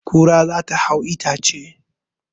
Kura za ta hau itace